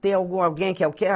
Tem algum, alguém, que é o quê?